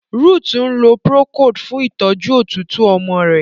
Ruth nlò procold fun ìtọjú òtútù ọmọ rẹ.